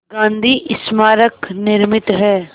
गांधी स्मारक निर्मित है